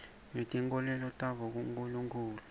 ngetinkholelo tabo kunkulunkhulu